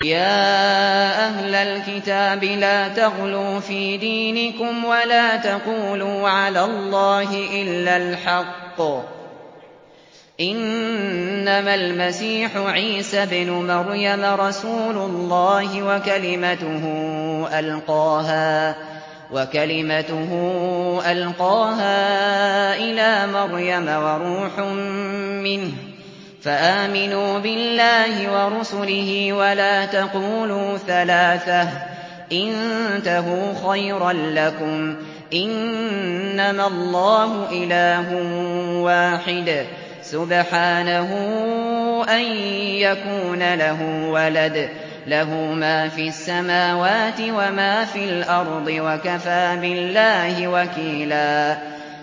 يَا أَهْلَ الْكِتَابِ لَا تَغْلُوا فِي دِينِكُمْ وَلَا تَقُولُوا عَلَى اللَّهِ إِلَّا الْحَقَّ ۚ إِنَّمَا الْمَسِيحُ عِيسَى ابْنُ مَرْيَمَ رَسُولُ اللَّهِ وَكَلِمَتُهُ أَلْقَاهَا إِلَىٰ مَرْيَمَ وَرُوحٌ مِّنْهُ ۖ فَآمِنُوا بِاللَّهِ وَرُسُلِهِ ۖ وَلَا تَقُولُوا ثَلَاثَةٌ ۚ انتَهُوا خَيْرًا لَّكُمْ ۚ إِنَّمَا اللَّهُ إِلَٰهٌ وَاحِدٌ ۖ سُبْحَانَهُ أَن يَكُونَ لَهُ وَلَدٌ ۘ لَّهُ مَا فِي السَّمَاوَاتِ وَمَا فِي الْأَرْضِ ۗ وَكَفَىٰ بِاللَّهِ وَكِيلًا